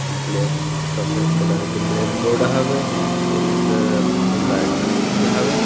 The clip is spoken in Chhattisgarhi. ब्लैक सफ़ेद कलर के ब्लैक बोर्ड हवे जिमे सर मन राइटिंग लिखे हवे ।